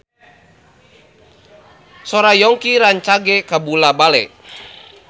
Sora Yongki rancage kabula-bale